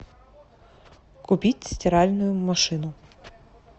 купить стиральную машину